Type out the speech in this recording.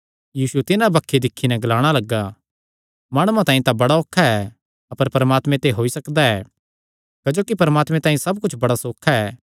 यीशु तिन्हां बक्खी दिक्खी नैं ग्लाणा लग्गा माणुआं तांई तां बड़ा औखा ऐ अपर परमात्मे ते होई सकदा ऐ क्जोकि परमात्मे तांई सब कुच्छ बड़ा सौखा ऐ